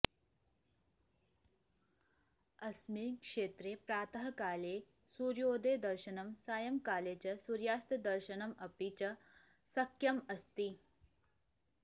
अस्मिन् क्षेत्रे प्रातःकाले सूर्योदयदर्शनं सायङ्काले च सूर्यास्तदर्शनमपि च शक्यम् अस्ति